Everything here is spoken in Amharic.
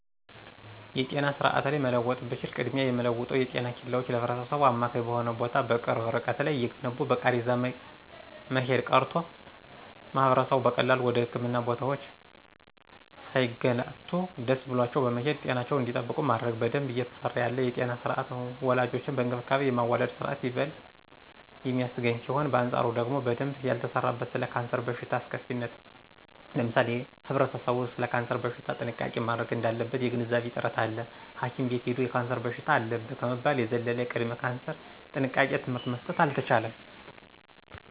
የጤና ስርአት ላይ መለወጥ ብችል ቅድሚያ የምለወጠው የጤና ኬላወችን ለህብረተሰቡ አማካኝ በሆነ ቦታ በቅርብ እርቀት ላይ እየገነቡ በቃሬዛ መሄድ ቀርቶ ማህበረሰቡ በቀላሉ ወደ ህክምና ቦታወች ሳይገላቱ ደሰ ብሏቸው በመሄድ ጤናቸውን እንዲጠብቁ ማድረግ። በደንብ እየተሰራ ያለ የጤና ስርአት ወላዶችን በእንክብካቤ የማዋለድ ስርአት ይበል የሚያሰኝ ሲሆን በአንጻሩ ደግሞ በደንብ ያልተሰራበት ስለ ካንሰር በሽታ አስከፊነት ለምሳሌ ህብረተሰቡ ሰለ ካንሰር በሽታ ጥንቃቄ ማድረግ እዳለበት የግንዛቤ እጥረት አለ ሀኪም ቤት ሂዶ የካንሰር በሽታ አለብህ ከመባል የዘለለ የቅድመ ካንሰር ጥንቃቄ ትምህርት መሰጠት አልተቻለም።